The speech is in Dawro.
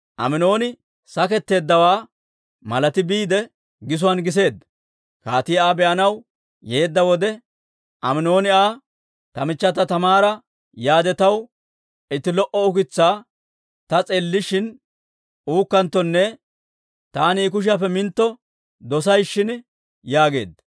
Aminooni saketteeddawaa malati biide gisuwaan giseedda. Kaatii Aa be'anaw yeedda wode, Aminooni Aa, «Ta michchata Taamaara yaade, taw itti lo"o ukitsaa ta s'eellishin uukkanttonne taani I kushiyaappe mintto dosay shin» yaageedda.